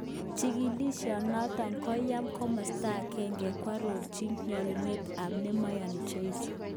Chikilisho noto koyob komosta agenge kwororwech nyonunet ab nemoyoni jaiso.